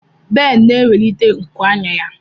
Ben na-ewelite nku anya ya.